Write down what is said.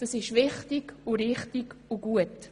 Das ist wichtig, richtig und gut.